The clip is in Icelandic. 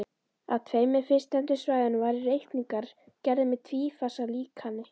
Á tveimur fyrstnefndu svæðunum voru reikningarnir gerðir með tvífasa líkani.